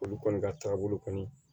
Olu kɔni ka taabolo kɔni